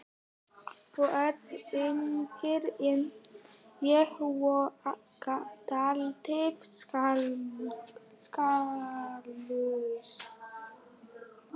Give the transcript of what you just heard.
Þú ert yngri en ég og dálítið saklaus.